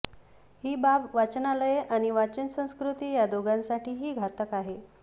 ही बाब वाचनालये आणि वाचन संस्कृती या दोघांसाठीही घातक आहे